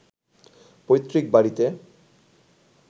পৈতৃক বাড়ীতে